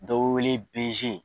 Dɔw be wele BG.